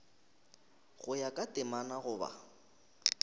go ya ka temana goba